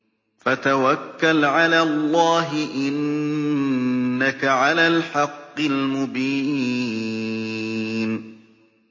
فَتَوَكَّلْ عَلَى اللَّهِ ۖ إِنَّكَ عَلَى الْحَقِّ الْمُبِينِ